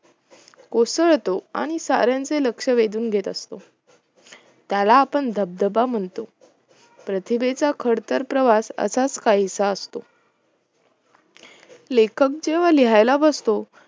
उसळतो आणि सऱ्यांचे लक्ष्य वेधून घेत असतो त्याला आपण धबदबा म्हणतो प्रतिभेचा खडतर प्रवास असाच काहीसा असतो लेखक जेव्हा लिहायला बसतो